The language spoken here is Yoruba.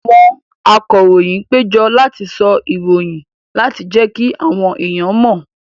Àwọn akọròyìn péjọ láti sọ ìròyìn láti jẹ́kí àwọn èèyàn mọ̀